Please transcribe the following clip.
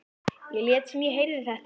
Ég lét sem ég heyrði þetta ekki.